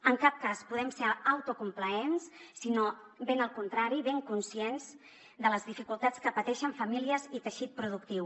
en cap cas podem ser autocomplaents sinó ben al contrari ben conscients de les dificultats que pateixen famílies i teixit productiu